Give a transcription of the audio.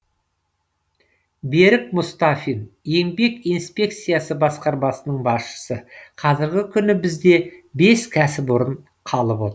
берік мұстафин еңбек инспекциясы басқармасының басшысы қазіргі күні бізде бес кәсіпорын қалып отыр